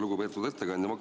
Lugupeetud ettekandja!